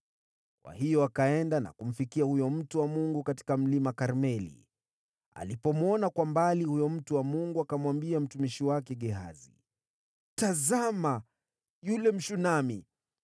Kwa hiyo akaenda na kumfikia huyo mtu wa Mungu katika Mlima Karmeli. Alipomwona kwa mbali, huyo mtu wa Mungu akamwambia mtumishi wake Gehazi, “Tazama, yule Mshunami!